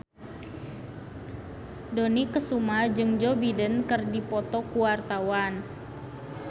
Dony Kesuma jeung Joe Biden keur dipoto ku wartawan